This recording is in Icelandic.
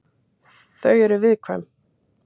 Þau eru viðkvæm.